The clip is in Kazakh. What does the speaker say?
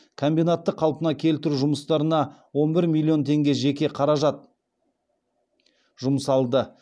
комбинатты қалпына келтіру жұмыстарына он бір миллион теңге жеке қаражат жұмсалды